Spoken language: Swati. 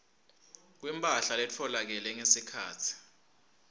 kwemphahla letfolakele ngesikhatsi